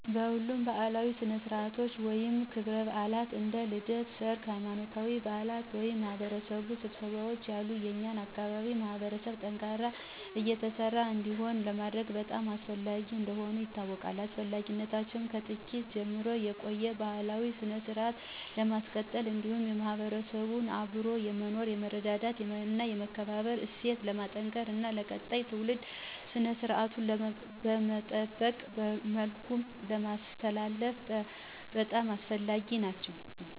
ሁሉም ባእላዊ ስነስረአትቶች ወይም ክብረባአላት እንደ ልደት፣ ሰርግ፣ ሃይማኖታዊ በአላት ወይም የማህበረሰብ ስብሰባዎች ያሉ የኛን አካባቢ ማህበረሰብ ጠንካራና የተሳሰረ እንዲሆን ለማድረግ በጣም አስፈላጊ እንደሆኑ አውቃለው። አስፈላጊነታቸውም ከጥንት ጀምሮ የቆየውን ባህላዊ ስነስረአት ለማስቀጠል እንዲሁም የማህበረሰቡን አብሮ የመኖር፣ የመረዳዳት እና የመከባበር እሴት ለማጠናከር እና ለቀጣይ ትውልድ ስነስራቱን በጠበቀ መልኩ ለማስተላለፍ በጣም አስፈላጊ ናቸው።